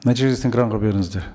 нәтижесін экранға беріңіздер